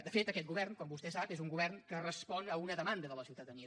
de fet aquest govern com vostè sap és un govern que respon a una demanda de la ciutadania